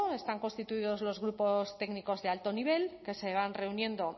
están constituidos los grupos técnicos de alto nivel que se van reuniendo